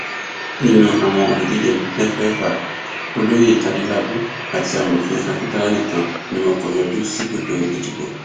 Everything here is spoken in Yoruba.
nínú àwọn olùdíje mẹfẹẹfà olóyè adélábù àti amòfin akíntola nìkan ni wọn kò yọjú síbùdó ìdìbò